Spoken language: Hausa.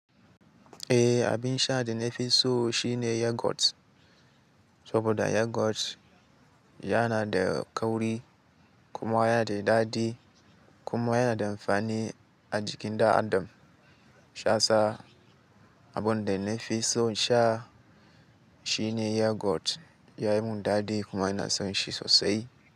Eh, abin sha da na fi so shine Yogurt. Saboda Yogurt yana da kauri kuma yana da daɗi kuma yana da amfani a jikin ɗan adam. Shi yasa abunda nafi son sha shine Yogurt yayi mun daɗi kuma ina son shi sosai.